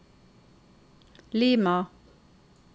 Lima